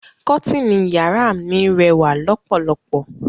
Kọ́tìnì yàrá mi rẹ́wà lọ́pọ̀lọpọ̀.